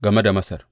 Game da Masar.